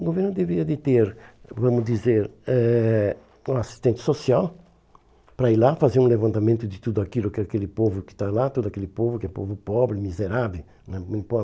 O governo deveria de ter, vamos dizer, eh um assistente social para ir lá fazer um levantamento de tudo aquilo que aquele povo que está lá, todo aquele povo que é povo pobre, miserável né